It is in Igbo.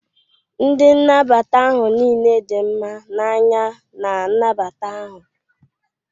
Ndị nnabata ahụ niile di mma na anya na nnabata ahụ.